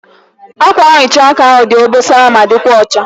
Ákwànhicha ahụ dị obosara ma dịkwa ọcha.